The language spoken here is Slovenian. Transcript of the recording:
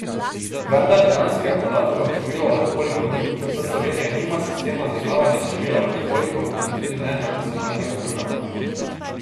Vendar dejanskega podatka o številu alkoholikov ni, saj Slovenija nima sistema zaznavanja števila alkoholikov in tudi ne nacionalnega programa.